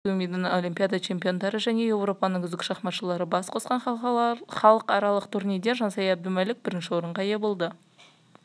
польшаның әйелдер құрама командасы бакудің олимпиада чемпиондары және еуропаның үздік шахматшылары бас қосқан халықаралық турнирде жансая әбдімәлік бірінші орынға ие болды